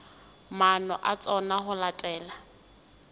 maano a tsona ho latela